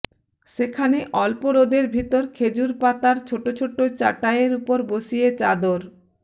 সেখানে অল্প রোদের ভেতর খেজুড় পাতার ছোটো ছোটো চাটাইয়ের উপর বসিয়ে চাদর